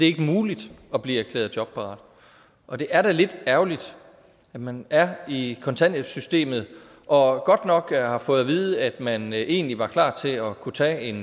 ikke muligt at blive erklæret jobparat og det er da lidt ærgerligt at man er i kontanthjælpssystemet og godt nok har fået at vide at man egentlig var klar til at kunne tage en